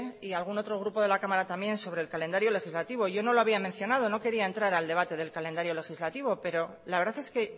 y algún otro grupo de la cámara también sobre el calendario legislativo yo no lo había mencionado no quería entrar al debate del calendario legislativo pero la verdad es que